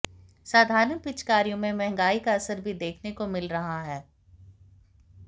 साधारण पिचकारियों में महंगाई का असर भी देखने को मिल रहा है